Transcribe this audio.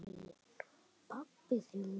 Pabbi þinn vill það.